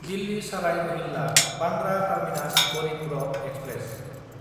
दिल्ली साराय रहिल्ला–बान्द्रा terminus Garib Rath express